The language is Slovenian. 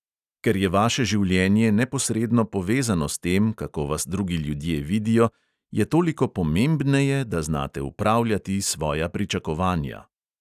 Ker je vaše življenje neposredno povezano s tem, kako vas drugi ljudje vidijo, je toliko pomembneje, da znate upravljati svoja pričakovanja.